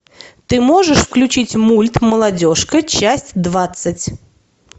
ты можешь включить мульт молодежка часть двадцать